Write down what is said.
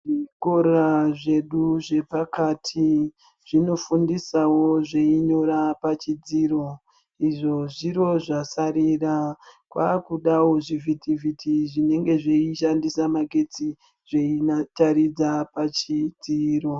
Zvikora zvedu zvepakati zvinofundisawo zveinyora pachidziro. Izvo zviro zvasarira, kwakudawo zvivhiti-vhiti zvinenge zveishandisa magetsi zveitaridza pachidziro.